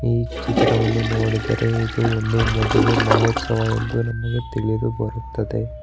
ಈ ಚಿತ್ರವನ್ನು ನೋಡಿದರೆ ಇದು ಒಂದು ಮದುವೆ ಮಹೋತ್ಸವ ಎಂದು ನಮಗೆ ತಿಳಿದು ಬರುತ್ತದೆ.